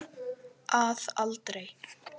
Að aldrei.